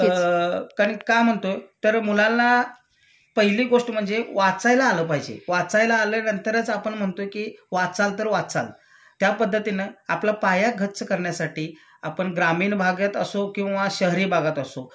अ कारण का म्हणतोय तर मुलांना पहिली गोष्ट म्हणजे वाचायला आलं पाहिजे.वाचायला आल्यानंतरच आपण म्हणतोय कि वाचाल तर वाचाल त्यापध्दतीन आपला पाया गच्च करण्यासाठी आपण ग्रामीण भागेत असो किंवा शहरी भागात असो